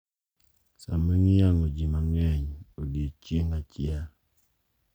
Sama iyang`o ji mang`eny e odiechieng` achiel.